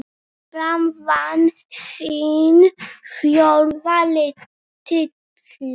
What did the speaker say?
Fram vann sinn fjórða titil.